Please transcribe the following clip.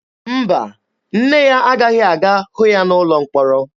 Mba, nne ya agaghị aga hụ ya n'ụlọ mkpọrọ.